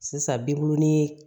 Sisan bibulin